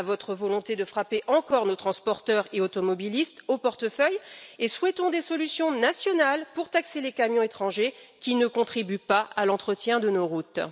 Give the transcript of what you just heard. à votre volonté de frapper encore nos transporteurs et automobilistes au portefeuille et souhaitons des solutions nationales pour taxer les camions étrangers qui ne contribuent pas à l'entretien de nos routes.